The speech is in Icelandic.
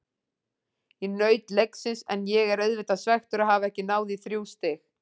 Ég naut leiksins en ég er auðvitað svekktur að hafa ekki náð í þrjú stig.